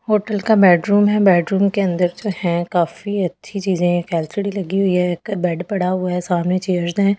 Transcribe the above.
Hotel का bedroom है bedroom के अंदर जो है काफी अच्छी चीजे एक एलसीडी लगी हुई है एक बेड पड़ा हुआ है सामने चेयर्स है स्टडी ।